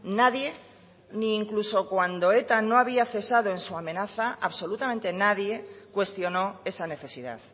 nadie ni incluso cuando eta no había cesado en su amenaza absolutamente nadie cuestionó esa necesidad